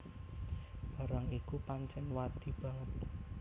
Barang iku pancèn wadi banget